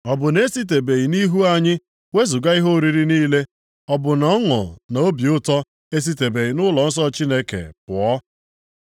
Ọ bụ na e sitebeghị nʼihu anyị wezuga ihe oriri niile, Ọ bụ na ọṅụ na obi ụtọ e sitebeghị nʼụlọnsọ Chineke anyị pụọ?